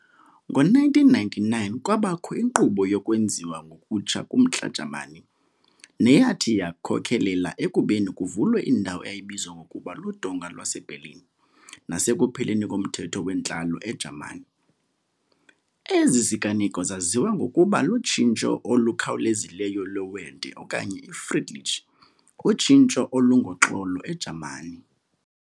Ngo-1999 kwabakho inkqubo yokwenziwa ngokutsha kumntla Jamani, neyathi yakhokhelela ekubeni kuvulwe indawo eyayibizwa ngokuba luDonga lwaseBerlin nasekupheleni komthetho wentlalo eJamani. Ezi ziganeko zaziwa ngokokuba lutshintsho olukhawulezileyo lwe Wende okanye iFriedliche, utshintsho olungoxolo, eJamani.